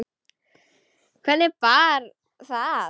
Hvernig bar það að?